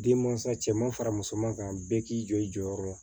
Denmansa cɛ ma fara musoman kan bɛɛ k'i jɔ i jɔyɔrɔ la